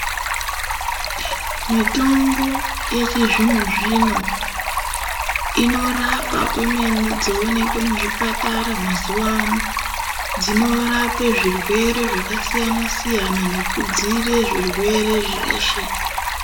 Mitombo yechizvino-zvino inorapa kwemene, dzooneke muzvipatara mazuwa ano. Dzinorape zvirwere zvakasiyana-siyana nekudziirira zvirwere zveshe.